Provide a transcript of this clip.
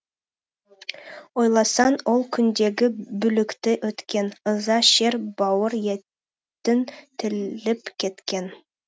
ойласаң ол күндегі бүлікті өткен ыза шер бауыр етін тіліп кеткен